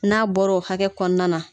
N'a bɔra o hakɛ kɔnɔna na